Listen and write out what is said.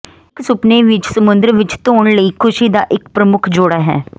ਇੱਕ ਸੁਪਨੇ ਵਿੱਚ ਸਮੁੰਦਰ ਵਿੱਚ ਧੋਣ ਲਈ ਖੁਸ਼ੀ ਦਾ ਇੱਕ ਪ੍ਰਮੁੱਖ ਜੋੜਾ ਹੈ